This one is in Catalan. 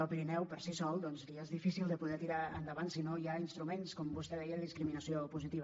al pirineu per si sol li és difícil de poder tirar endavant si no hi ha instruments com vostè deia de discriminació positiva